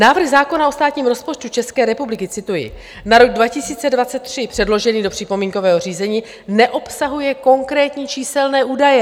Návrh zákona o státním rozpočtu České republiky - cituji - na rok 2023 předložený do připomínkového řízení neobsahuje konkrétní číselné údaje.